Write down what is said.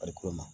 Farikolo ma